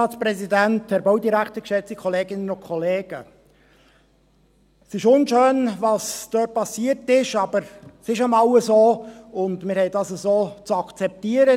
Es ist unschön, was dort passiert ist, aber es ist nun mal so, und wir haben das so zu akzeptieren.